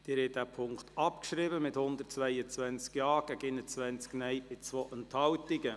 Sie haben den Punkt 2 der Motion abgeschrieben, mit 122 Ja- zu 21 Nein-Stimmen bei 2 Enthaltungen.